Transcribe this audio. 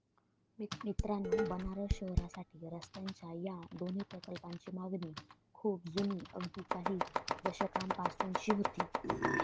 मित्रांनो, बनारस शहरासाठी रस्त्यांच्या या दोन्ही प्रकल्पांची मागणी खूप जुनी, अगदी काही दशकांपासूनची होती.